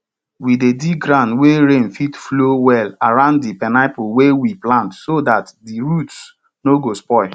we dey dig ground wey rain fit flow well around di pineapple wey we plant so dat di roots no go spoil